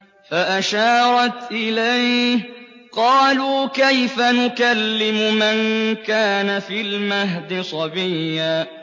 فَأَشَارَتْ إِلَيْهِ ۖ قَالُوا كَيْفَ نُكَلِّمُ مَن كَانَ فِي الْمَهْدِ صَبِيًّا